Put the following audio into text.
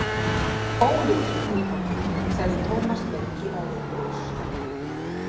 Óljósum tilgangi, sagði Tómas með bíræfið bros.